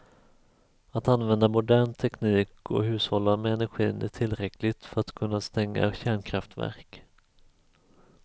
Att använda modern teknik och hushålla med energin är tillräckligt för att kunna stänga kärnkraftverk.